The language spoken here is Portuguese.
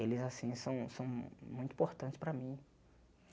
Eles assim são são muito importantes para mim.